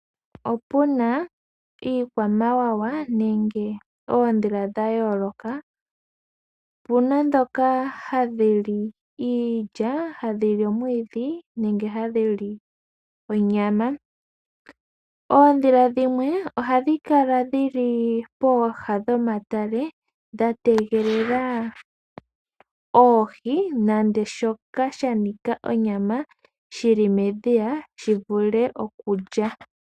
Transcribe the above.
Opuna iikwamawawa nenge ondhila dha yooloka, opuna dhoka hadhi li iilya, omwiidhi nonyama. Ondhila dhimwe ohadhi kala pooha pomatale dha tegelela oohi nenge shoka sha nika onyama shi li medhiya shi vule okulya.